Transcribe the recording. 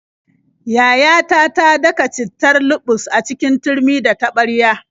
Yayata ta daka cittar luɓus a cikin turmi da taɓarya.